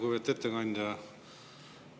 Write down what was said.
Lugupeetud ettekandja!